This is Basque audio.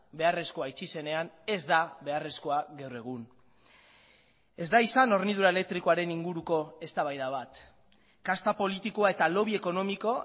beharrezkoa itxi zenean ez da beharrezkoa gaur egun ez da izan hornidura elektrikoaren inguruko eztabaida bat kasta politikoa eta lobby ekonomiko